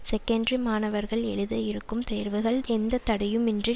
secondary மாணவர்கள் எழுத இருக்கும் தேர்வுகள் எந்த தடையுமின்றி